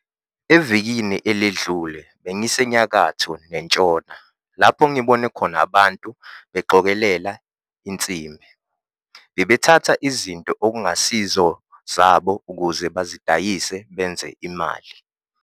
Evikini eledlule bengiseNyakatho neNtshona lapho ngibone khona abantu beqokelela insimbi. Bebethatha izinto okungasizo zabo ukuze bazidayise benze imali.